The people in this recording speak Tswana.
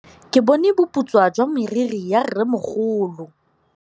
Ke bone boputswa jwa meriri ya rrêmogolo.